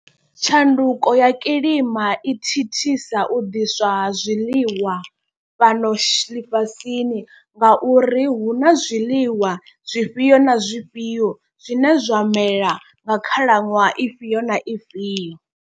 Tshanduko ya kilima i thithisa u ḓiswa ha zwiḽiwa fhano shi ḽifhasini. Nga uri hu na zwiḽiwa zwifhio na zwifhio zwine zwa mela nga khalaṅwaha ifhio na ifhio.